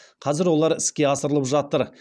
қазір олар іске асырылып жатыр